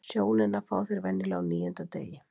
Sjónina fá þeir venjulega á níunda degi.